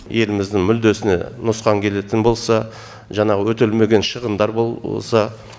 еліміздің мүддесіне нұқсан келетін болса жаңағы өтелмеген шығындар болса